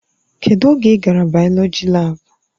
Kedụ oge ị gara bayoloji laabu?